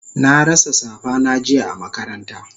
Na rasa safa na jiya a makaranta